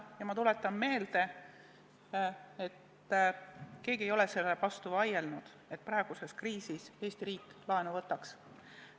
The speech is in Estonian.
Ja ma tuletan meelde, et keegi ei ole sellele vastu vaielnud, et praeguses kriisis Eesti riik laenu võtaks.